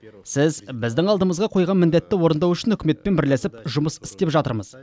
сіз біздің алдымызға қойған міндетті орындау үшін үкіметпен бірлесіп жұмыс істеп жатырмыз